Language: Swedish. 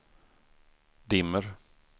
dimmer